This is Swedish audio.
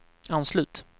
anslut